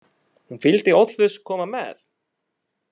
Hún vildi óðfús koma með.